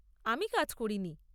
আমি কাজ করি নি।